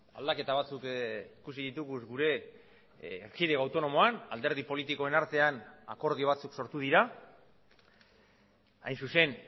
aldaketa batzuk ikusi ditugu gure erkidego autonomoan alderdi politikoen artean akordio batzuk sortu dira hain zuzen